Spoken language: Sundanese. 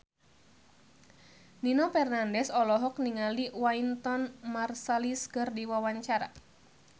Nino Fernandez olohok ningali Wynton Marsalis keur diwawancara